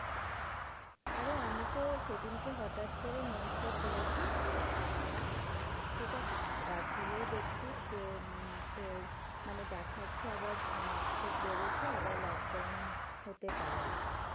আরে আমি তো সে দিন হটাৎ করে news টা খুলেছি, ঠিক আছে অ্যাঁ খুলেই ডাকছি যে উম তোর মানে দেখাছে আবার অ্যাঁ খুব বেড়েছে আবার lockdown হতে পারে আর কি